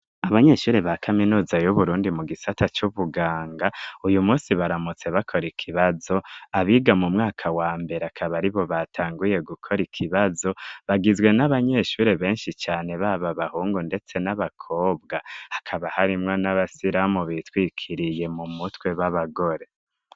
Abanyeshuri ba kaminuza y'uburundi mu gisata c'ubuganga uyu munsi baramutse bakora ikibazo abiga mu mwaka wa mbere akaba aribo batanguye gukora ikibazo bagizwe n'abanyeshuri benshi cane baba bahungu ndetse n'abakobwa hakaba harimwo n'abasiramu bitwikiriye mu mutwe b'abagore.